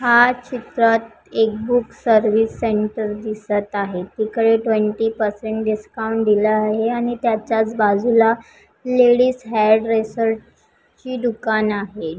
हा चित्रात एक बूक सर्विस सेंटर दिसत आहे तिकडे ट्वेंटी परसेंट डिस्काउंट दिला आहे आणि त्याच्याच बाजूला लेडिज हेयर ड्रेसर ची दुकान आहे.